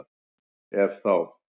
Ef þá?